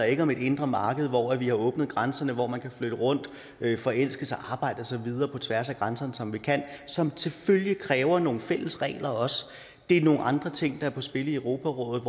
ikke om et indre marked hvor vi har åbnet grænserne hvor man kan flytte rundt forelske sig arbejde og så videre på tværs af grænserne som vi kan og som selvfølgelig også kræver nogle fælles regler det er nogle andre ting der er på spil i europarådet